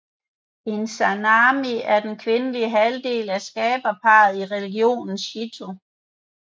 Izanami er den kvindelige halvdel af skaberparret i religionen Shinto